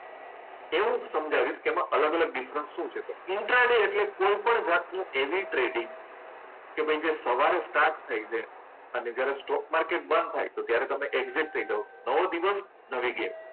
એવું સમજાવીશ કે એમાં અલગ અલગ ડિફરન્સ શું છે. ઇન્ટ્રા ડે એટલે કોઈ પણ જાતની એવી ટ્રેડિંગ કે ભાઈ જે સવારે સ્ટાર્ટ થઈ જાય અને જ્યારે સ્ટોક માર્કેટ બંધ થાય ત્યારે તમે એક્ઝિટ થઈ જાઓ. નવો દિવસ નવી ગેમ.